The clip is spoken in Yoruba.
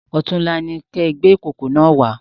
Ọ̀túnla ní kí ẹ gbé ìkókó náà wá